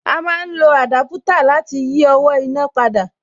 A má ń lo àdápútà láti yí owó iná padà